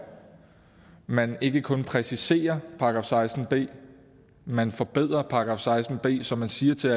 man ikke kun præciserer § seksten b man forbedrer § seksten b så man siger til